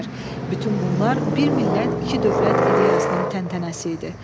Bütün bunlar bir millət, iki dövlət ideyasının təntənəsi idi.